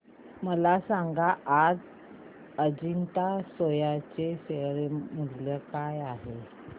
मला सांगा आज अजंता सोया चे शेअर मूल्य काय आहे